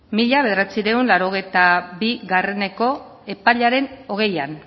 mila bederatziehun eta laurogeita bieko epaiaren hogeian